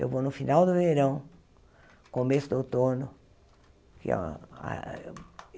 Eu vou no final do verão, começo do outono.